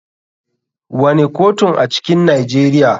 Wane kotun a cikin Nijeriya.